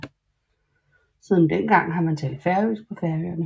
Siden dengang har man talt færøsk på Færøerne